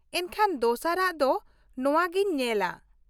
ᱮᱱᱠᱷᱟᱱ ᱫᱚᱥᱟᱨ ᱟᱜ ᱫᱚ ᱱᱚᱶᱟ ᱜᱮᱧ ᱧᱮᱞᱟ ᱾